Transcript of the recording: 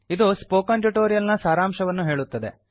ಇದು spoken tutorial ನ ಸಾರಾಂಶವನ್ನು ಹೇಳುತ್ತದೆ